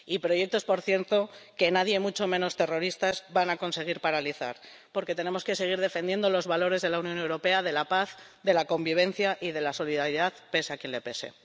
Y, proyectos, por cierto, que nadie, mucho menos terroristas, van a conseguir paralizar, porque tenemos que seguir defendiendo los valores de la Unión Europea, de la paz, de la convivencia y de la solidaridad, pese a quien le pese.